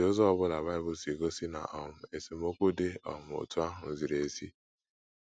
Ọ̀ dị ụzọ ọ bụla Bible si gosi na um esemokwu dị um otú ahụ ziri ezi?